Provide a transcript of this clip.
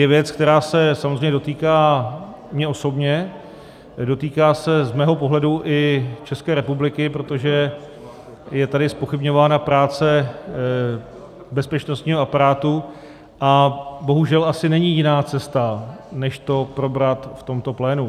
- je věc, která se samozřejmě dotýká mě osobně, dotýká se z mého pohledu i České republiky, protože je tady zpochybňována práce bezpečnostního aparátu, a bohužel asi není jiná cesta než to probrat v tomto plénu.